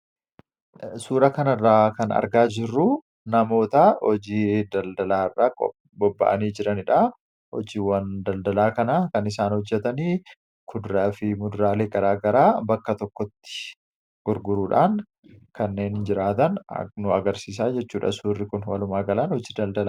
Suuraa kanaa gadii irratti kan argamu nama daldala irra jiran yammuu ta'u isaannis namoota kuduraa fi fuduraa gurguruun jireenya isaanii kan gaggeeffatanii dha.